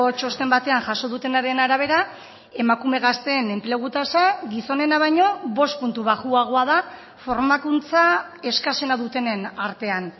txosten batean jaso dutenaren arabera emakume gazteen enplegu tasa gizonena baino bost puntu baxuagoa da formakuntza eskasena dutenen artean